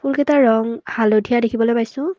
কিতাৰ ৰঙ হালধীয়া দেখিবলৈ পাইছোঁ।